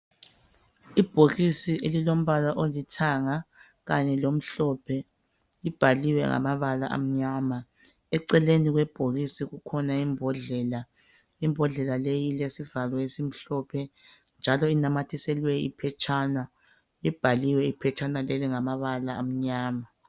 Ibhokisi elilombala olithanga kanye lomhlophe libhaliwe ngamabala amnyama eceleni kwebhokisi kukhona imbodlela imbodlela leyi ilesivalo esimhlophe njalo inamathiselwe iphetshana libhaliwe iphetshana leli ngamabala amnyama.